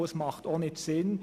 Das macht auch nicht Sinn.